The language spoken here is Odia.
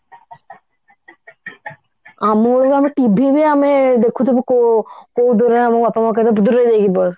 ଆମ ବେଳକୁ ଆମେ TV ବି ଆମେ ଦେଖୁଥିବୁ କୋ ଦୂର ଆମ ବାପା ମାଆ କହିବେ ଦୂରରେ ଯାଇକି ବସ